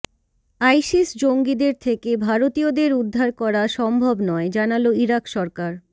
ISIS জঙ্গিদের থেকে ভারতীয়দের উদ্ধার করা সম্ভব নয় জানাল ইরাক সরকার